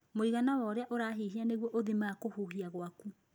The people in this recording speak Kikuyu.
Mũigana wa ũrĩa ũrahihia nĩguo ũthimaga kũhuhia gwaku.